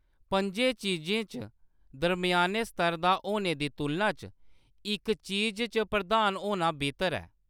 पं'जें चीजें च दरम्याने-स्तर दा होने दी तुलना च इक चीज च प्रधान होना बेहतर ऐ।